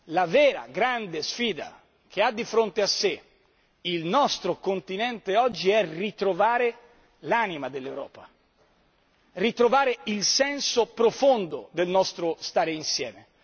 La vera, grande sfida che ha di fronte a sé il nostro continente oggi è ritrovare l'anima dell'Europa, ritrovare il senso profondo del nostro stare insieme.